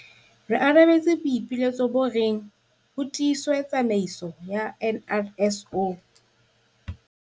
Re arabetse boipiletso bo reng ho tiiswe tsamaiso ya NRSO.